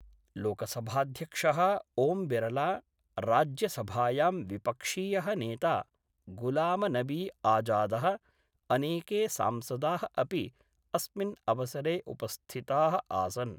लोकसभाध्यक्ष: ओम्बिरला, राज्यसभायां विपक्षीय: नेता गुलामनबी आजाद: अनेके सांसदा: अपि अस्मिन् अवसरे उपस्थिता: आसन्।